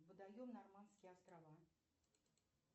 водаем норманские острова